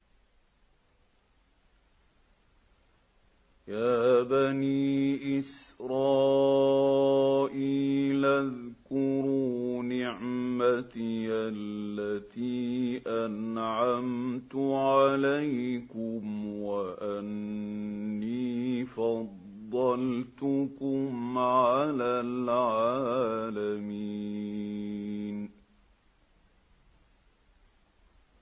يَا بَنِي إِسْرَائِيلَ اذْكُرُوا نِعْمَتِيَ الَّتِي أَنْعَمْتُ عَلَيْكُمْ وَأَنِّي فَضَّلْتُكُمْ عَلَى الْعَالَمِينَ